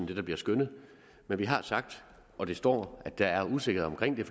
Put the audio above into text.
det der bliver skønnet men vi har sagt og det står der at der er usikkerhed